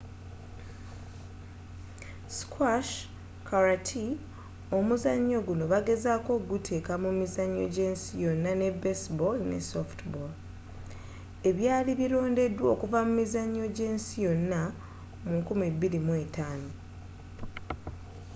squash karate omuzannyo guno bagezaako okuguteeka mu mizannyo gy'ensi yonna ne baseball ne softball ebyali birondeddwa okuva mu mizannyo gy'ensi yonna mu 2005